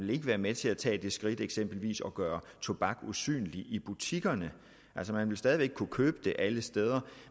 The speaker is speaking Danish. vil være med til at tage det skridt eksempelvis at gøre tobak usynligt i butikkerne man ville stadig væk kunne købe det alle steder